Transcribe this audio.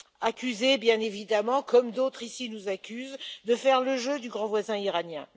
Accusée bien évidemment, comme d'autres ici nous accusent de faire le jeu du grand voisin iranien.